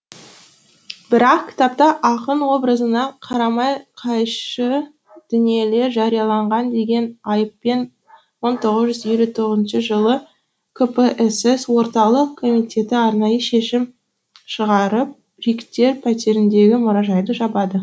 бірақ кітапта ақын образына қарама қайшы дүниелер жарияланған деген айыппен мың тоғыз жүз елу тоғызыншы жылы кпсс орталық комитеті арнайы шешім шығарып бриктер пәтеріндегі мұражайды жабады